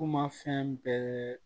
Kuma fɛn bɛɛ